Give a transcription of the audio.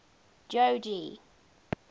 jogee